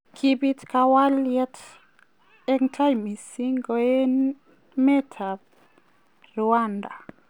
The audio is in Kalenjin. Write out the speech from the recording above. Kiib kakwaayet en tai mising' koenemet ab Rwanda.